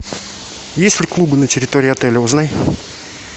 есть ли клубы на территории отеля узнай